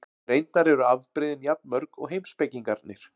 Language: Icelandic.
Reyndar eru afbrigðin jafn mörg og heimspekingarnir.